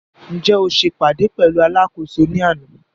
Ǹjẹ́ o se ìpàdé pẹ̀lú alákòóso ní àná?